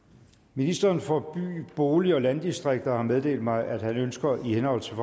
ministeren for by bolig og landdistrikter har meddelt mig at han ønsker i henhold til